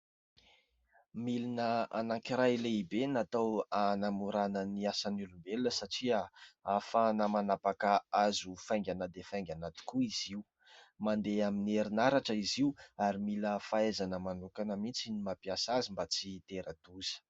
Milina anankiray lehibe natao hanamorana ny asan'ny olombelona satria hafahana manapaka hazo faingana dia faingana tokoa izy io. Mandeha amin'ny herinaratra izy io ary mila fahaizana manokana mihitsy ny mampiasa azy mba tsy itera-doza.